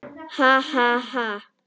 Ha, ha, ha!